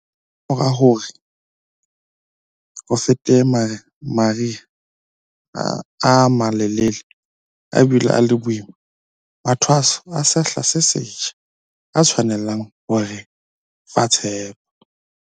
Kamora hore ho fete mari ha a malelele a bile a le boima, mathwaso a sehla se setjha a tshwanela ho re fa tshepo.